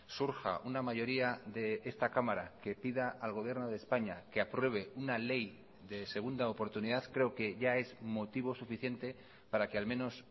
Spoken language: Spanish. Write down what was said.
surja una mayoría de esta cámara que pida al gobierno de españa que apruebe una ley de segunda oportunidad creo que ya es motivo suficiente para que al menos